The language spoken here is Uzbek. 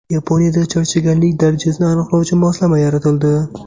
Yaponiyada charchaganlik darajasini aniqlovchi moslama yaratildi.